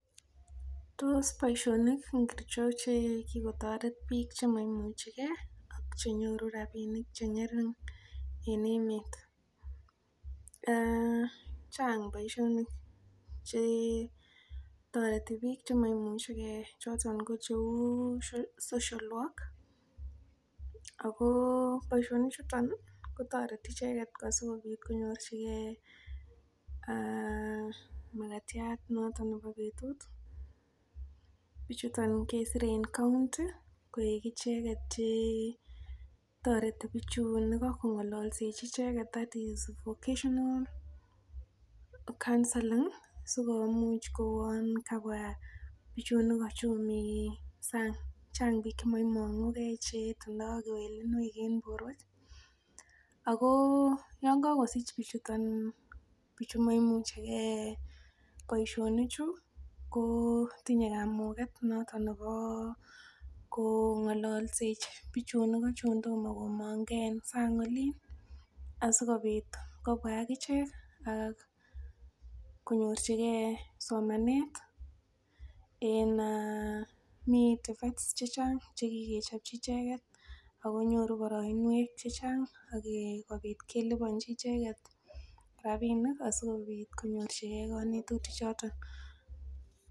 Tos boisionik ngiricho che kigotoret biik che maimuchi ge ak che nyoru rabinik che ng'ering en emet? Chang boiiionik ch etoreti biik che maimuchige. Choto ko cheu social work ago boisiionik chuto kotoreti icheget asikobit konyorjige magatiat noto nebo betut. Biichuto kesire en county koik icheget che toreti bichun icheget kong'alalsechi. That is vocational counselling sikomuch kouwon kabwa bichun igo chun mi sang. Chang biik chemoimung'u ge icheget en borwek ago yon kogosich bichuto maimuchige boisionichu kotinye kamuget noton nebo kong'alalsechi bichun igo chun tomo komong ke en sang olin. Asikobit kobwa ak ichek ak konyorjige somanet en uh mi che chang che kigechopchi icheget ago nyoru boroinwek chechang sikobit keliponchi icheget rabinik asikobit konyorjige konetutichoto.